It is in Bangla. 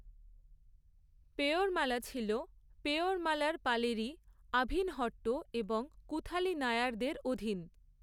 পেয়োরমালা ছিল পেয়োরমালার পালেরি, আভিনহট্ট এবং কুথালি নায়ারদের অধীন।